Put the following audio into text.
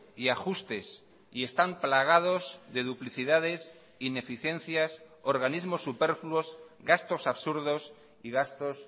y ajustes y están plagados de duplicidades ineficiencias organismos superfluos gastos absurdos y gastos